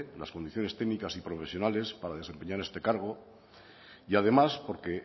las condiciones técnicas y profesionales para desempeñar este cargo y además porque